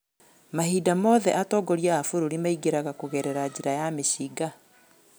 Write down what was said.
Mahinda mothe atogoria a bũrũri maingĩraga kũgerera njĩra ya mĩcinga.